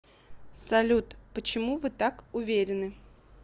салют почему вы так уверены